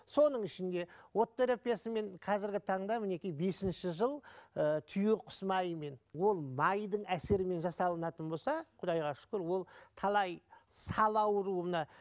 соның ішінде от терапиясымен қазіргі таңда мінекей бесінші жыл ыыы түйеқұс майымен ол майдың әсерімен жасалынатын болса құдайға шүкір ол талай сал ауруына